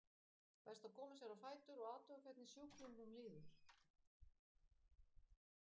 Best að koma sér á fætur og athuga hvernig sjúklingnum líður.